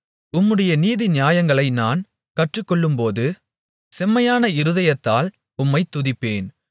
உம்முடைய நீதிநியாயங்களை நான் கற்றுக்கொள்ளும்போது செம்மையான இருதயத்தால் உம்மைத் துதிப்பேன்